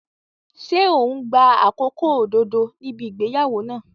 Ṣé ò ń gba àkókò òdodo níbi ìgbéyàwó náà?